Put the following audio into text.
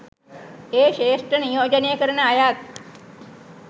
ඒ ක්‍ෂේත්‍ර නියෝජනය කරන අයත්